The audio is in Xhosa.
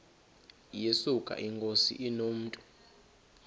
yesuka inkosi inomntu